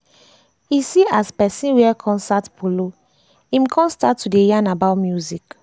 e see as person wear concert polo im kon start to dey yarn about music